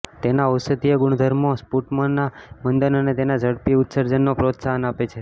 તેના ઔષધીય ગુણધર્મો સ્પુટમના મંદન અને તેના ઝડપી ઉત્સર્જનને પ્રોત્સાહન આપે છે